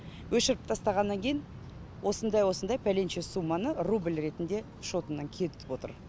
өшіріп тастағаннан кейін осындай осындай пәленше сумманы рубль ретінде шотымнан кетіп отыр